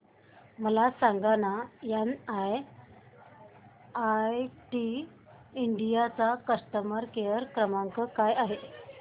मला सांगाना NIIT India चा कस्टमर केअर क्रमांक काय आहे